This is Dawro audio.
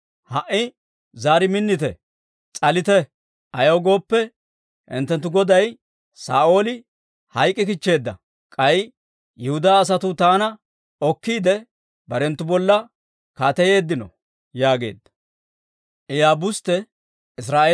Ha"i zaari minnite; s'alite; ayaw gooppe, hinttenttu goday Saa'ooli hayk'k'ikichcheedda; k'ay Yihudaa asatuu taana okkiide, barenttu bolla kaateyeeddino» yaageedda.